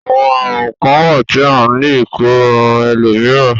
Àwọn àrùn kán wà tí a le e kó ran ẹlòmíràn.